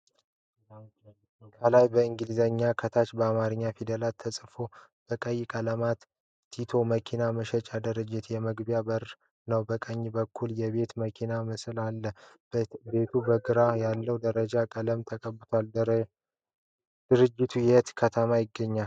ከላይ በእንግሊዘኛ ከታች በአማረኛ ፊደላት ተፅፏል። በቀይ ቀለም "ቲቶ የመኪና መሸጫ" ድርጅት የመግቢያ በር ነዉ። ከቀኝ በኩል የቤት መኪና ምስል አለ። ቤቱ በግራ ያለዉ አረንጓዴ ቀለም ተቀብቷል። ድርጅቱ የት ከተማ ይገኛል?